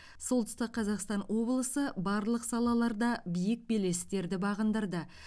солтүстік қазақстан облысы барлық салаларда биік белестерді бағындырды